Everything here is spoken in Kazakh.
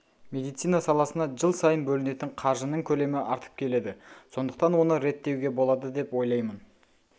медицина саласына жыл сайын бөлінетін қаржының көлемі артып келеді сондықтан оны реттеуге болады деп ойлаймын